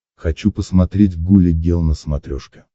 хочу посмотреть гуля гел на смотрешке